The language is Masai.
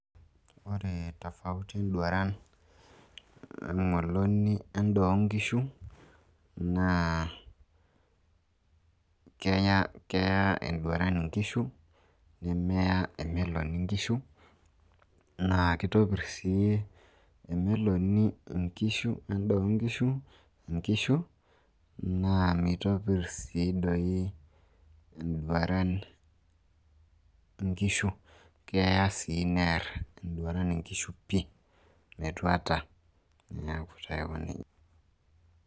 Ore tofauti enduran o meloni e n`daa oo nkishu naa keya enduran nkishu nemeya emeloni nkishu naa kitopirr sii emeloni nkishu endaa oo nkishu, nkishu. Naa meitopir sii doi enduran nkishu keya sii near enduran nkishu pii.